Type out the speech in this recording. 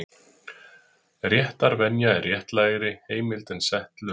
Réttarvenja er réttlægri heimild en sett lög.